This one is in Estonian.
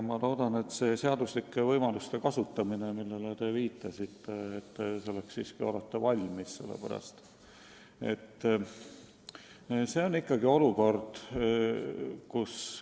Ma loodan, et lähtudes seaduslikest võimalustest, millele te viitasite, te siiski olete selleks valmis.